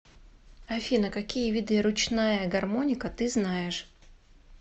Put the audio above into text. афина какие виды ручная гармоника ты знаешь